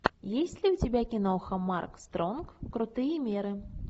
есть ли у тебя киноха марк стронг крутые меры